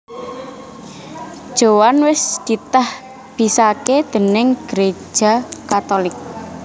Joan wés ditahbisaké déning Gereja Katolik